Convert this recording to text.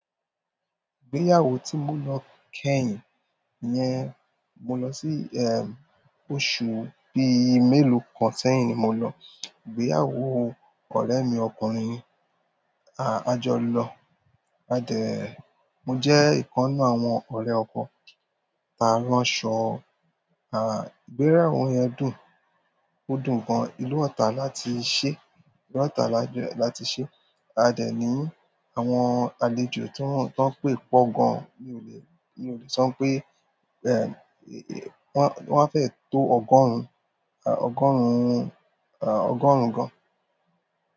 Ìgbéyàwó tí mo lọ kẹ́yìn yẹn, mo lọ sí ẹm, oṣù bíi mélòó kan sẹ́yìn ni mo lọ. Ìgbéyàwó ọ̀rẹ́ mi ọkùnrin, a-a jọ lọ. A dẹ̀, mo jẹ́ ìkan nínú àwọn ọ̀rẹ́ ọkọ, a ran sọ́, aà, ìgbéyàwó yẹn dùn. Ó dùn gan. Ìlú Ọ̀tà láti ṣé, ìlú Ọ̀tà láti ṣé. A dẹ̀ ní àwọn àlejò tó ń tọ́ pé pọ̀ gan. Mi ò le, mi ò le sọ pé ẹm, wọ́n, wọ́n fẹ́ tó ọgọ́rùn, a, ọgọ́rùn-ún, a, ọgọ́rùn-ún gan.